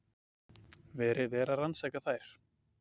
Verið er að rannsaka þær